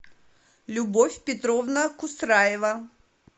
любовь петровна кусраева